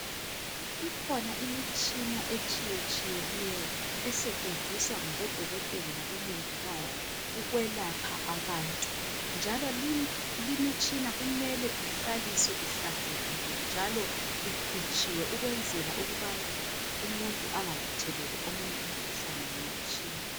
ikhona imitshina etshiyetshiyeneyo esetshenziswa ngabo dokotela labo mongikazi ukwelapha abantu njalo limitshina kumele ihlaliswe ihlanzekile njalo ikhutshiwe ukwenzela ukubana umuntu engatheleli omunye umuntu umkhuhlane ngemitshina